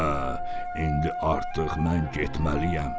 Hə, indi artıq mən getməliyəm.